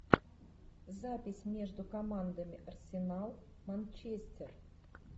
запись между командами арсенал манчестер